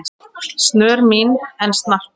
snör mín en snarpa